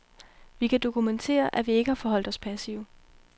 Vi kan dokumentere, at vi ikke har forholdt os passive.